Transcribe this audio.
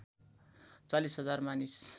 ४० हजार मानिस